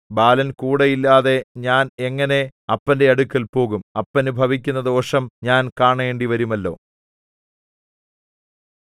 ബാലൻ കൂടെ ഇല്ലാതെ ഞാൻ എങ്ങനെ അപ്പന്റെ അടുക്കൽ പോകും അപ്പനു ഭവിക്കുന്ന ദോഷം ഞാൻ കാണേണ്ടിവരുമല്ലോ